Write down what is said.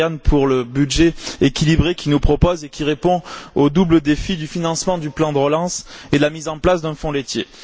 Surján pour le budget équilibré qu'il nous propose et qui répond au double défi du financement du plan de relance et de la mise en place d'un fonds laitier.